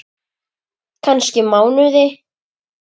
Kannski mánuði!